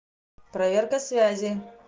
проверка связи